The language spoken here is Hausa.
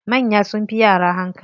Manya sunfi yara hankali.